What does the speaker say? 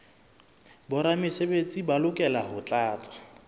boramesebetsi ba lokela ho tlatsa